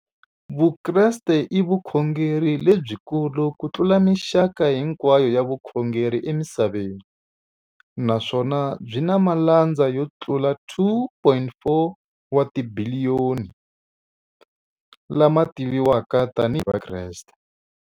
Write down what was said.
Vukreste i vukhongeri lebyi kulu kutlula mixaka hinkwayo ya vukhongeri emisaveni, naswona byi na malandza yo tlula 2.4 wa tibiliyoni, la ma tiviwaka tani hi Vakreste.